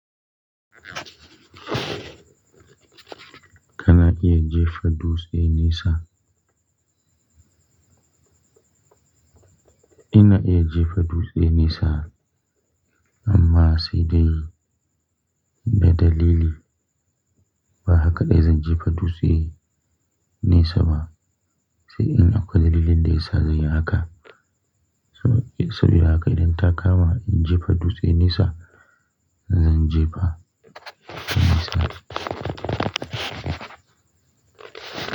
Kana iya jefa dutse nesa? Ina iya jefa dutse nesa, amma sai dai da dalili. Ba haka ɗai zan jefa dutse nesa ba sai in akwai dalilin da ya sa zanyi haka. Saboda haka idan ta kama in jefa dutse nesa, zan jefa nesa.